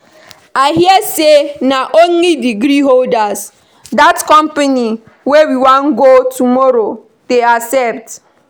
I hear say na only degree holders dat company wey we wan go tomorrow dey accept